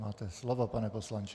Máte slovo, pane poslanče.